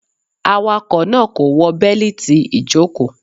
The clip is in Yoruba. Awakọ naa ko wọ beliti ijoko.